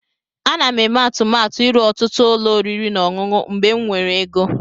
Ana m eme atụmatụ ịrụ ọtụtụ ụlọ oriri na ọṅụṅụ mgbe m nwere ego.